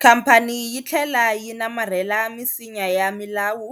Khamphani yi tlhela yi namarhela misinya ya milawu